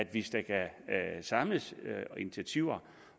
hvis der kan samles initiativer